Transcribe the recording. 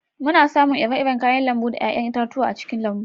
Muna samun iri-iri kayan lambu da 'ya'yan itatuwa a cikin lambu